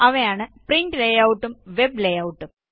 അവയാണ് print layout ഉം web layout ഉം